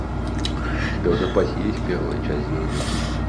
у тебя в запасе есть первая часть звездный путь